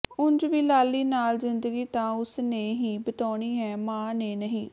ਉਂਝ ਵੀ ਲਾਲੀ ਨਾਲ ਜ਼ਿੰਦਗੀ ਤਾਂ ਉਸ ਨੇ ਹੀ ਬਿਤਾਉਣੀਂ ਹੈ ਮਾਂ ਨੇ ਨਹੀਂ